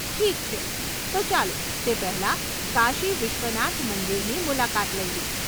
ઠીક છે, તો ચાલો તે પહેલાં કાશી વિશ્વનાથ મંદિરની મુલાકાત લઈએ!